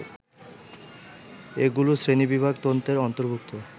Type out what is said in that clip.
এগুলি শ্রেণীবিভাগ তন্ত্রের অন্তর্ভূক্ত